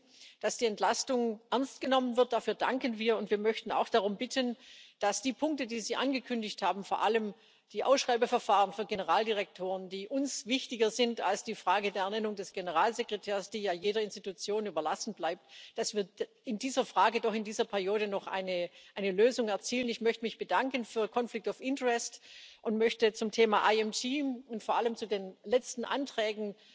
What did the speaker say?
Wir wissen, dass die Entlastung ernst genommen wird, dafür danken wir, und wir möchten auch darum bitten, dass wir bei den Punkten, die Sie angekündigt haben, vor allem in der Frage der Ausschreibeverfahren für Generaldirektoren, die uns wichtiger sind als die Frage der Ernennung des Generalsekretärs, die ja jedem Organ überlassen bleibt, doch in dieser Periode noch eine Lösung erzielen. Ich möchte mich bedanken für conflict of interest und möchte zum Thema IMG und vor allem zu den letzten Anträgen